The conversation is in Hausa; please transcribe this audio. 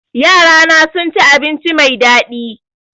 Yarana sun ci abinci mai daɗi